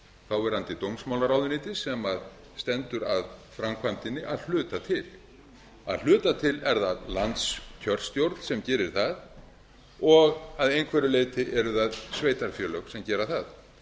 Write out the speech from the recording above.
þáverandi dómsmálaráðuneytis sem stendur að framkvæmdinni að hluta til að hluta til er það landskjörstjórn sem gerir það og að einhverju leyti eru það sveitarfélög sem gera það